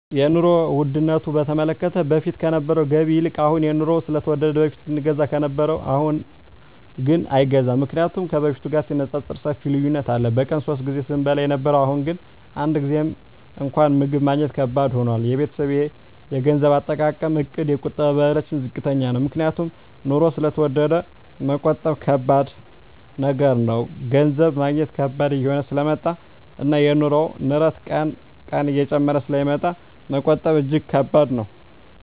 የኑሮ ዉድነቱ በተመለከተ በፊት ከነበረዉ ገቢ ይልቅ አሁን የኑሮዉ ስለተወደደ በፊት ስንገዛ ከነበረ አሁንግን አይገዛም ምክንያቱም ከበፊቱ ጋር ሲነፃፀር ሰፊ ልዩነት አለ በቀን ሶስት ጊዜ ስንበላ የነበረዉ አሁን ግን አንድ ጊዜም እንኳን ምግብ ማግኘት ከባድ ሆኗል የቤተሰቤ የገንዘብ አጠቃቀምእቅድ የቁጠባ ባህላችን ዝቅተኛ ነዉ ምክንያቱም ኑሮዉ ስለተወደደ መቆጠብ ከባድ ነገር ነዉ ገንዘብ ማግኘት ከባድ እየሆነ ስለመጣእና የኑሮዉ ንረት ቀን ቀን እየጨመረ ስለሚመጣ መቆጠብ እጂግ ከባድ ነዉ